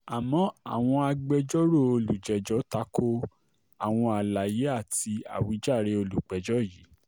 àmọ́ àwọn agbẹjọ́rò olùjẹ́jọ́ ta ko àwọn àlàyé àti àwíjàre olùpẹ̀jọ́ yìí